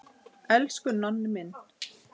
Elsku Nonni minn.